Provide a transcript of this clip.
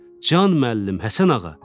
Can, müəllim, Həsənağa.